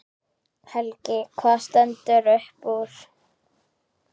Helgi: Hvað stendur upp úr?